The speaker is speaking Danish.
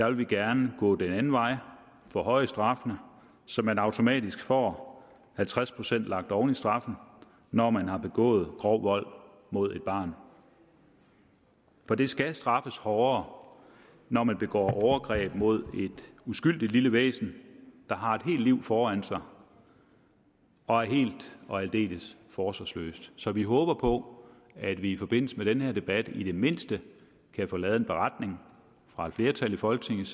vil vi gerne gå den anden vej og forhøje straffene så man automatisk får halvtreds procent lagt oven i straffen når man har begået grov vold mod et barn for det skal straffes hårdere når man begår overgreb mod et uskyldigt lille væsen der har et helt liv foran sig og er helt og aldeles forsvarsløst så vi håber på at vi i forbindelse med den her debat i det mindste kan få lavet en beretning fra et flertal i folketinget